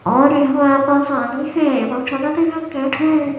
और यह कोई शादी है --